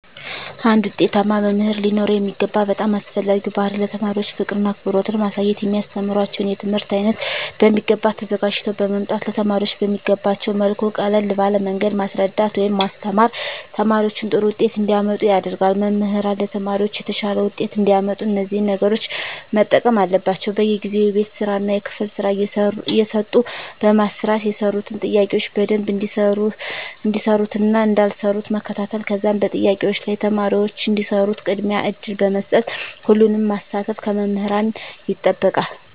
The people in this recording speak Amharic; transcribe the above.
አንድ ዉጤታማ መምህር ሊኖረዉ የሚገባ በጣም አስፈላጊዉ ባህሪይ ለተማሪዎች ፍቅርን አክብሮትን ማሳየት የሚያስተምራቸዉን የትምህርት አይነት በሚገባ ተዘጋጅተዉ በመምጣት ለተማሪዎች በሚገቧቸዉ መልኩ ቀለል ባለ መንገድ ማስረዳት ወይም ማስተማር ተማሪዎች ጥሩ ዉጤት እንዲያመጡ ያደርጋል መምህራን ለተማሪዎች የተሻለ ዉጤት እንዲያመጡ እነዚህን ነገሮች መጠቀም አለባቸዉ በየጊዜዉ የቤት ስራእና የክፍል ስራ እየሰጡ በማሰራት የሰሩትን ጥያቄዎች በደንብ እንደሰሩትእና እንዳልሰሩት መከታተል ከዛም በጥያቄዎች ላይ ተማሪዎች እንዲሰሩት ቅድሚያ እድል በመስጠት ሁሉንም ማሳተፍ ከመምህራን ይጠበቃል